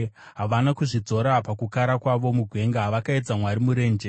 Havana kuzvidzora pakukara kwavo mugwenga; vakaedza Mwari murenje.